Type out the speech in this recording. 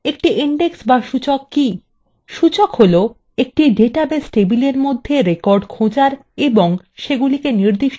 সূচক হলো একটি ডাটাবেস table মধ্যে records খোঁজার এবং নির্দিষ্ট ক্রমে সাজানোর জন্য একটি দ্রুত উপায়